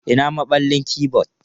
Ina maballin keyboard?